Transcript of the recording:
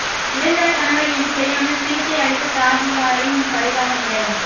இறந்தவர் கணவர் என்று தெரியாமல் சிகிச்சை அளித்த தாதியரின் பரிதாப நிலை